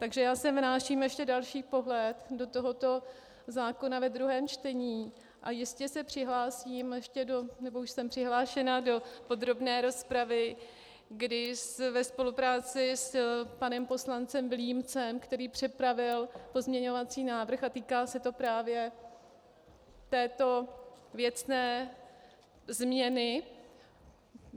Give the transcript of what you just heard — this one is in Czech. Takže já sem vnáším ještě další pohled do tohoto zákona ve druhém čtení a jistě se přihlásím ještě do... nebo už jsem přihlášena do podrobné rozpravy, kdy ve spolupráci s panem poslancem Vilímcem, který připravil pozměňovací návrh, a týká se to právě této věcné změny.